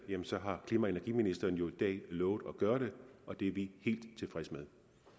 har klima og energiministeren jo i dag lovet at gøre det og det er vi helt tilfredse